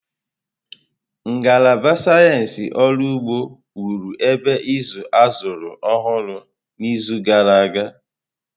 Ngalaba Sayensị Ọrụ Ugbo wụrụ ebe ịzụ azụrụ ọhụrụ n'izu gara aga.